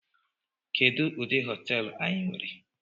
Kedu udi hoteelu anyi were?